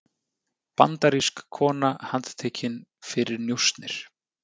Bandarísk kona handtekin fyrir njósnir